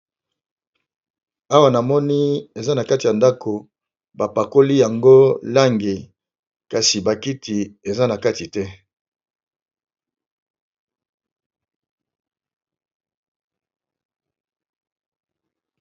Awa namoni eza nakati yandako bapakoli yango lango kasi bakiti eza nakatite